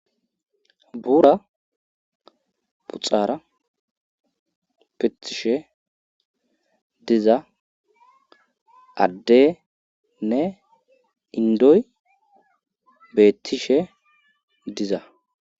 Buura puxara pettishe diza adde nne indoy beettishe diza